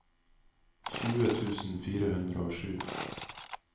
tjue tusen fire hundre og sju